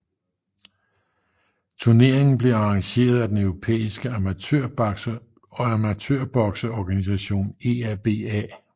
Turneringen blev arrangeret af den europæiske amatørbokseorganisation EABA